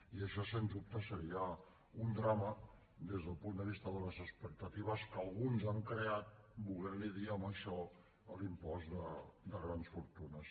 i això sens dubte seria un drama des del punt de vista de les expectatives que alguns han creat volent li dir a això l’impost de grans fortunes